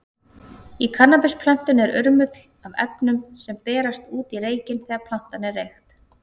Í kannabisplöntunni er urmull af efnum, sem berast út í reykinn þegar plantan er reykt.